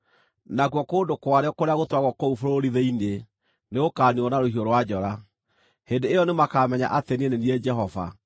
nakuo kũndũ kwarĩo kũrĩa gũtũũragwo kũu bũrũri-thĩinĩ nĩgũkaniinwo na rũhiũ rwa njora. Hĩndĩ ĩyo nĩmakamenya atĩ niĩ nĩ niĩ Jehova.